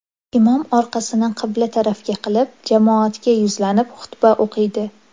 Imom orqasini qibla tarafga qilib jamoatga yuzlanib xutba o‘qiydi.